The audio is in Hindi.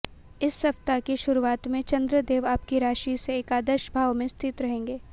इस सप्ताह की शुरुआत में चंद्र देव आपकी राशि से एकादश भाव में स्थित रहेंगे